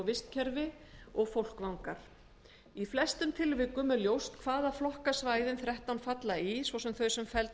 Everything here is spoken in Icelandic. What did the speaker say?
vistkerfi og fólkvangar í flestum tilvikum er ljóst hvaða flokka svæðin þrettán falla í svo sem þau sem felld verða inn